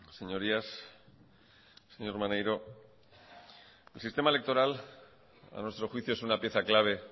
señorías señor maneiro el sistema electoral a nuestro juicio es una pieza clave